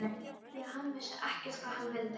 Af því að hann vissi ekkert hvað hann vildi.